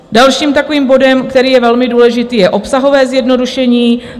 Dalším takovým bodem, který je velmi důležitý, je obsahové zjednodušení.